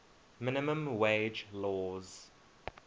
minimum wage laws